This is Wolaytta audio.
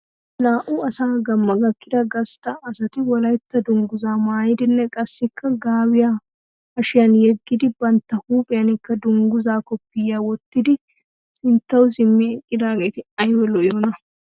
Naa'u asa gamma gakkida gasta asat Wolaytta dunguzaa maayidinne qassikka gaabiya hashshiyan yegid bantta huuphphiyanikka dunguzaa koppiyiyaa wottidi sinttawu simi eqqaageetti aybba lo'iyoona.